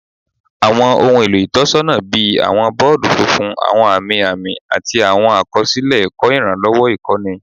Awọn ohun elo itọnisọna bii awọn bọọdu funfun, awọn ami ami, ati awọn akọsilẹ ẹkọ iranlọwọ ikọni